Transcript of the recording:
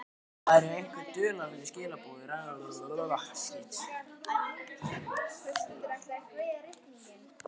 Það eru einhver dularfull skilaboð í raddblænum sem kitla hann.